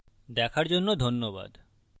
দেখার জন্য ধন্যবাদ